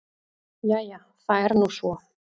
Jæja það er nú svo.